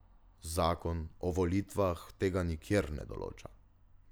Zakon o volitvah tega nikjer ne določa.